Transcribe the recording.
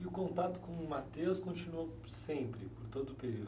E o contato com o continuou sempre, por todo o período?